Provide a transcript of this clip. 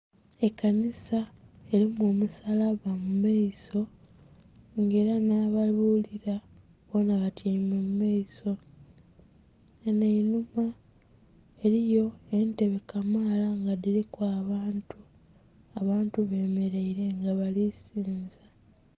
Ekanhisa elimu omusabba mumaiso nga era nha babulila batyeime mumaiso ghanho einhuma eliyo entebe kamala nga dhiliku abaantu, abaantu bemereire nga balisiza.